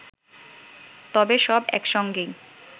তবে সব একসঙ্গেই